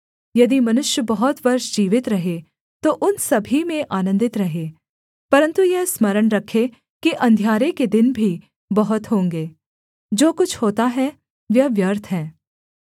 यदि मनुष्य बहुत वर्ष जीवित रहे तो उन सभी में आनन्दित रहे परन्तु यह स्मरण रखे कि अंधियारे के दिन भी बहुत होंगे जो कुछ होता है वह व्यर्थ है